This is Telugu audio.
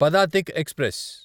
పదాతిక్ ఎక్స్ప్రెస్